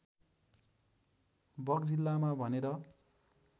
बगजिल्लामा भनेर